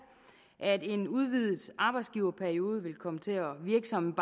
at en udvidet arbejdsgiverperiode vil komme til at virke som